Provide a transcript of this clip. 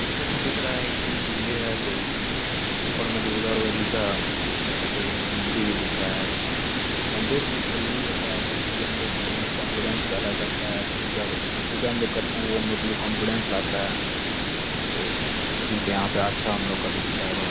Picture में दिख रहा है कि मंदिर है कोई। ऊपर में दुर्गा-ओर्गा जी का फोटो मूर्ति भी दिखरा है। मंदिर बोहोत जरूरी होता है क्योंकि ये हम लोग के अंदर कॉन्फिडेंस पैदा करता है। पूजा क-अ-पूजा हम लोग करते हैं वो हम लोग के लिए कॉन्फिडेंस लाता है तो ठीक है। यहां पे आस्था हम लोग का दिखता है। भ --